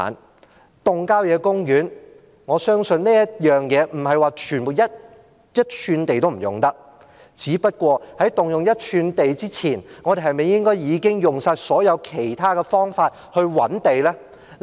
關於動用郊野公園的土地，我相信不是一吋土地也不能用，只不過，在動用一吋土地之前，我們是否應該先用盡所有其他方法覓地呢？